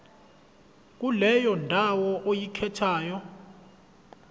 kuleyo ndawo oyikhethayo